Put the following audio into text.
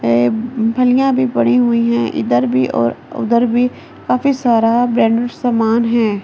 फलियां भी पड़ी हुई हैं इधर भी और उधर भी काफी सारा ब्रांड सामान है ।